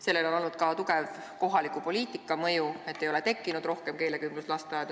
Sellel on olnud ka tugev kohaliku poliitika mõju, et ei ole tekkinud rohkem keelekümbluslasteaedu.